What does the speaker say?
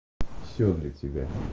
всё для тебя